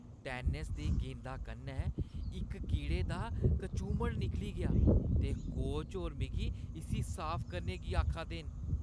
Tennis दी गेंदा कन्नै इक कीड़े दा कचूमर निकली गेआ ते कोच होर मिगी इस्सी साफ करने गी आखा दे न।